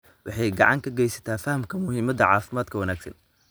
waxay gacan ka geysataa fahamka muhiimada caafimaadka wanaagsan.